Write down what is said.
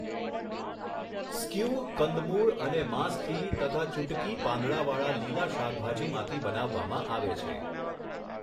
Skew કંદમૂળ અને માંસથી તથા ચુટગી પાંદડાંવાળાં લીલાં શાકભાજીમાંથી બનાવવામાં આવે છે.